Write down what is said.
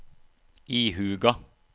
ihuga